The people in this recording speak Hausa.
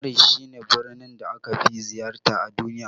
Faris shi ne birnin da aka fi ziyarta a duniya